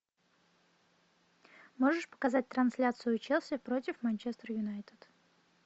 можешь показать трансляцию челси против манчестер юнайтед